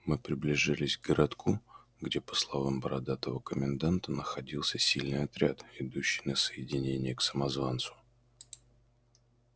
мы приближились к городку где по словам бородатого коменданта находился сильный отряд идущий на соединение к самозванцу